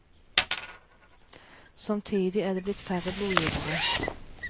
Samtidig er det blitt færre blodgivere.